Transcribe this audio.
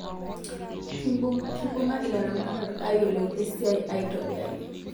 Kibunga ilaramatak ayioluo esiai aitobiraki